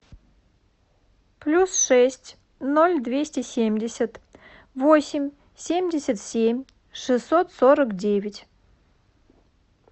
плюс шесть ноль двести семьдесят восемь семьдесят семь шестьсот сорок девять